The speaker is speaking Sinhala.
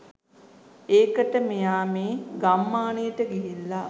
ඒකට මෙයා මේ ගම්මානයට ගිහිල්ලා